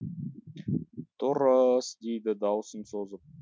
дұры ыс деді даусын созып